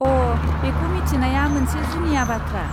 अ'! बेखौ मिथिनाया मोनसे जुनिया बाथ्रा।